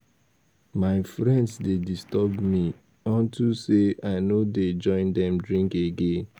My friends dey disturb me unto say I no dey join dem drink again